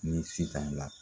Ni Sitan